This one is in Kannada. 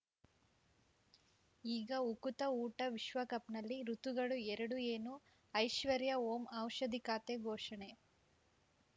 ಈಗ ಉಕುತ ಊಟ ವಿಶ್ವಕಪ್‌ನಲ್ಲಿ ಋತುಗಳು ಎರಡು ಏನು ಐಶ್ವರ್ಯಾ ಓಂ ಔಷಧಿ ಖಾತೆ ಘೋಷಣೆ